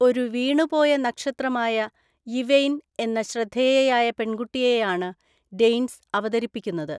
ഒരു വീണുപോയ നക്ഷത്രമായ യിവെയ്ൻ എന്ന ശ്രദ്ധേയയായ പെൺകുട്ടിയെയാണ് ഡെയ്ൻസ് അവതരിപ്പിക്കുന്നത്.